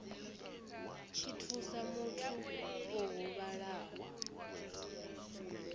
tshi thusa muthu o huvhalaho